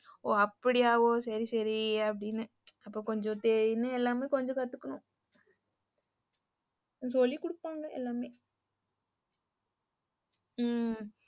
ஓஹ அப்டியா? சேரி சேரி அப்படின்னு இப்போ கொஞ்சம் செரின்னு எல்லாமே கொஞ்சம் கத்துக்கணும். சொல்லி குடுப்பாங்க எல்லாமே. உம்